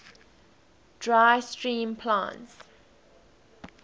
dry steam plants